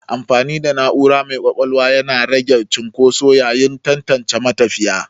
Amfani da na'ura mai ƙwaƙwalwa yana rage cunƙoso yayin tantance matafiya.